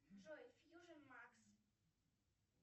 джой фьюжн макс